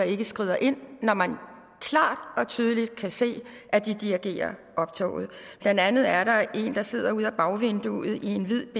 ikke skrider ind når man klart og tydeligt kan se at de dirigerer optoget blandt andet er der en der sidder ud ad bagvinduet i en hvid